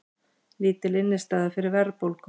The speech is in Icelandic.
Lítil innistæða fyrir verðbólgu